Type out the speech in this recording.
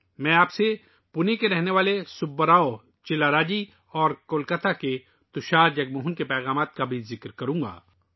میں آپ کو پونے سے سبا راؤ چلّرا جی اور کولکاتہ سے تشار جگموہن کے پیغام کا بھی ذکر کروں گا